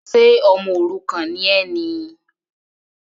Ṣe ọmọ òrukàn ni ẹ ni?